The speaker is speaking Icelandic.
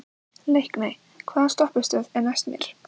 Leikný, hvaða stoppistöð er næst mér?